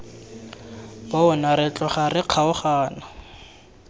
bona re tloga re kgaogana